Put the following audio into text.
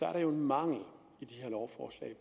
er der jo en mangel i de her lovforslag